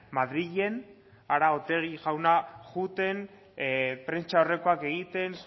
madrilen hara otegi jauna joaten prentsaurrekoak egiten